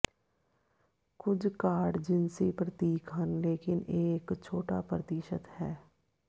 ਕੁਝ ਕਾਰਡ ਜਿਨਸੀ ਪ੍ਰਤੀਕ ਹਨ ਲੇਕਿਨ ਇਹ ਇੱਕ ਛੋਟਾ ਪ੍ਰਤੀਸ਼ਤ ਹੈ